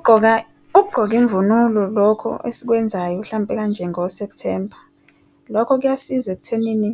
Ukugqoka imvunulo lokho esikwenzayo hlampe kanje ngo-September, lokho kuyasiza ekuthenini